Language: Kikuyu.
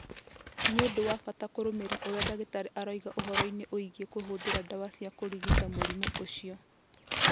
Nĩ ũndũ wa bata kũrũmĩrĩra ũrĩa ndagĩtarĩ aroiga ũhoro-inĩ wĩgiĩ kũhũthĩra ndawa cia kũrigita mũrimũ ũcio.